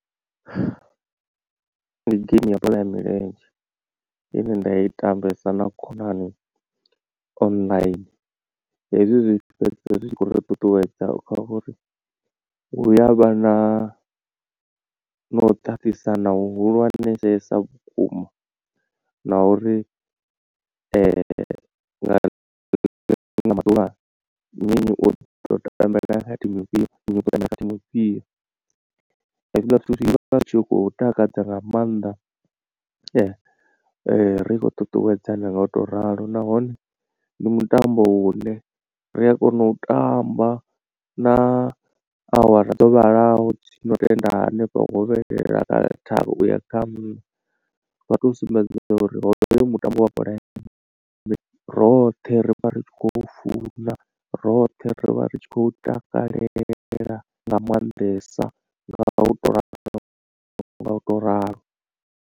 Ndi game ya bola ya milenzhe ine nda i tambesa na khonani online hezwi zwi fhedzisela zwi tshi khou ri ṱuṱuwedza kha uri hu yavha na na u ṱaṱisana hu hulwanesesa vhukuma na uri nga liṅwe ḽa maḓuvha nnyi nnyi u tambela thimu ifhio nnyi u khou tambela thimu ifhio. Hezwiḽa zwithu zwi vha zwi tshi khou takadza nga maanḓa ri tshi khou ṱuṱuwedzana nga u to ralo nahone ndi mutambo u ne ri a kona u tamba na awara dzo vhalaho dzi no tenda hanefha hovhelela kha tharu uya kha nṋa vha tou sumbedza uri hoyo mutambo wa bola ya roṱhe ri vha ri tshi khou funa roṱhe ri vha ri tshi khou takalela nga maanḓesa nga u to ralo nga u to ralo.